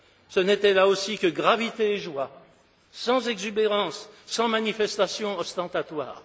Ce n'était là aussi que gravité et joie, sans exubérance, sans manifestation ostentatoire.